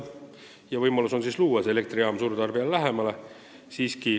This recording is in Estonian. On ka võimalus rajada elektrijaam suurtarbijale lähemale.